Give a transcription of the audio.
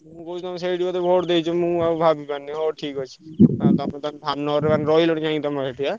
ମୁଁ କହୁଛି ତମେ ସେଇଠି ବୋଧେ vote ଦେଇଛ ମୁଁ ଆଉ ଭାବିପାରୁନି ହଉ ଠିକ୍ ଅଛି। ତମେ ତାହେଲେ ଧାମନଗରରେ ମାନେ ରହିଲଣି ଯାଇ ତମର ସେଠି ଆଁ।